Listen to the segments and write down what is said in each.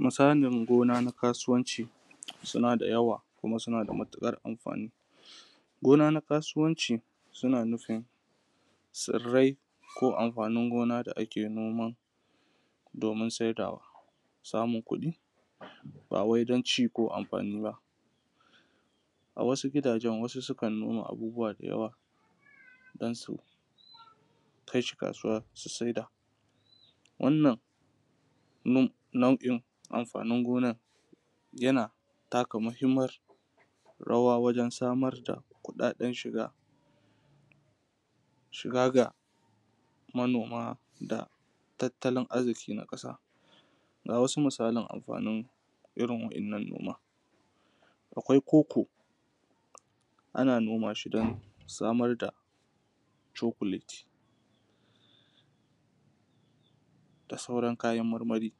Misalan gona na kasuwanci suna da yawa, kuma suna matuƙar amfani. Gona na kasuwanci suna nufin tsirrai ko amfanin gona da ake noman domin saidawa. Samun kuɗi ba wai don ci ko amfani ba. A wasu gidajen wasu sukan noma abubuwa da yawa don su kai shi kasuwa su saida. Wannan nau’o’in amfanin gonar yana taka muhimmiyar rawa wajen samar da kuɗaɗen shiga ga manoma, da tattalin arziki na ƙasa. Ga wasu misalan amfanin irin waɗannan noma. Akwai cocoa, ana noma shi don samar da chocolate da sauran kayan marmari.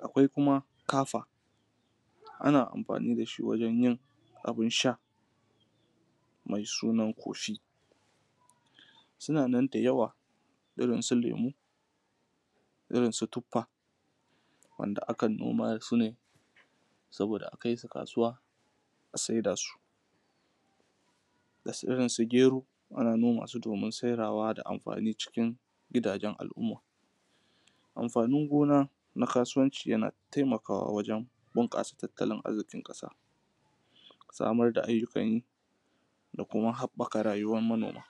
Akwai kuma kafa wanda ake amfani da shi wajen abin sha mai suna coffee. Suna nan da yawa irin su lemu, irin su tuffa wanda akan noma su ne saboda a kai su kasuwa a saida su, da irin su gero ana noma su domin saidawa da amfanin cikin gidajen al’umma. Amfanin gona na kasuwanci yana taimakawa wajen bunƙasa tattalin arzikin ƙasa, samar da ayyukan yi da kuma haɓɓaka rayuwar manoma.